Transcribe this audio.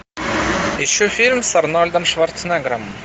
ищу фильм с арнольдом шварценеггером